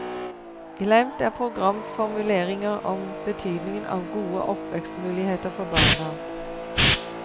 Glemt er programformuleringer om betydningen av gode oppvekstmuligheter for barna.